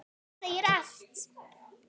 Það segir allt.